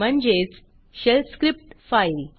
म्हणजेच shell script file